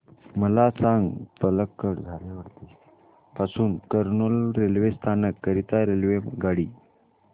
मला सांग पलक्कड पासून एर्नाकुलम रेल्वे स्थानक करीता रेल्वेगाडी